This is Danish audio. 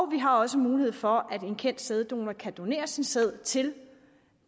vi har også mulighed for at en kendt sæddonor kan donere sin sæd til